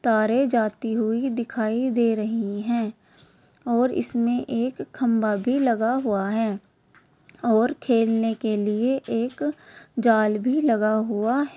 तारे जाती हुई दिखाई दे रही हैं और इसमे एक खंभा भी लगा हुआ है और खेलने के लिए एक जाल भी लगा हुआ --